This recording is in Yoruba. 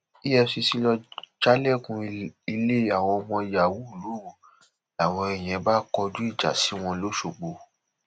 efcc lọọ jálẹkùn ilé àwọn ọmọ yàwó lóru làwọn yẹn bá kọjú ìjà sí wọn lọsgbọ